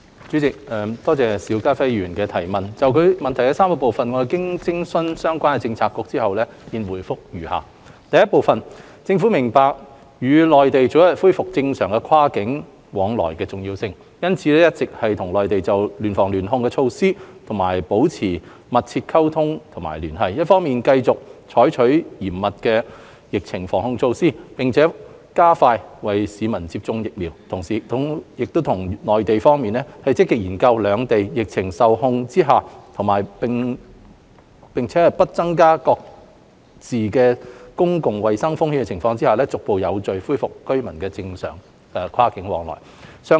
主席，多謝邵家輝議員的質詢，就其質詢的3個部分，經徵詢相關政策局，我現答覆如下：一政府明白與內地早日恢復正常跨境往來的重要性，因此一直與內地就聯防聯控措施保持緊密溝通和聯繫，一方面繼續採取嚴密的疫情防控措施，並加快為市民接種疫苗，同時亦與內地方面積極研究在兩地疫情受控並且不增加各自公共衞生風險的情況下，逐步有序恢復居民的正常跨境往來。